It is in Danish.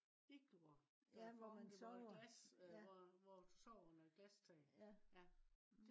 iglor der er formet som et glas øh hvor du sover med et glastag